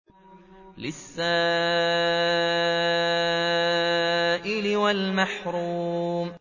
لِّلسَّائِلِ وَالْمَحْرُومِ